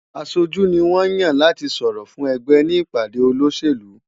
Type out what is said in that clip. Aṣojú ni wọ́n ń yàn láti sọ̀rọ̀ fún ẹgbẹ́ ní ìpàdé olóṣèlú.